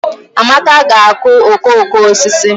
Amaka ga-akụ okooko osisi